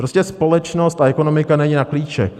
Prostě společnost a ekonomika není na klíček.